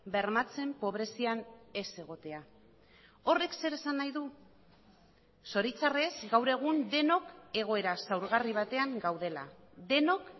bermatzen pobrezian ez egotea horrek zer esan nahi du zoritxarrez gaur egun denok egoera zaurgarri batean gaudela denok